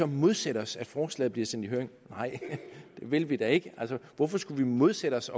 modsætte os at forslaget bliver sendt i høring nej det vil vi da ikke altså hvorfor skulle vi modsætte os